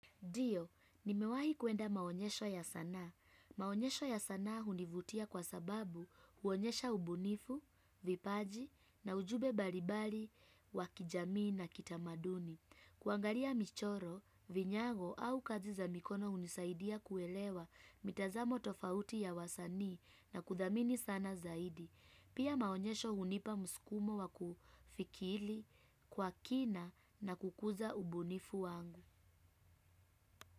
Ndio, nimewahi kuenda maonyesho ya sanaa. Maonyesho ya sanaa univutia kwa sababu huonyesha ubunifu, vipaji na ujumbe balibari wakijamii na kitamaduni. Kuangalia michoro, vinyago au kazi za mikono unisaidia kuelewa mitazamo tofauti ya wasanii na kuthamini sana zaidi. Pia maonyesho hunipa muskumo wakufikili kwa kina na kukuza ubunifu wangu.